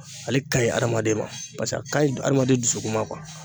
Ale ka ɲi adamaden ma pase a kaɲi adamaden dusukun ma kuwa